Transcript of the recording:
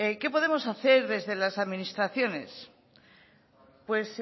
qué podemos hacer desde las administraciones pues